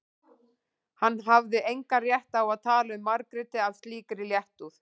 Hann hafði engan rétt á að tala um Margréti af slíkri léttúð.